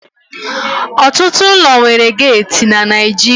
Ọtụtụ ụlọ nwere geeti na Naịjirịa